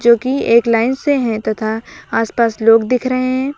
जो की एक लाइन से हैं तथा आसपास लोग दिख रहे हैं।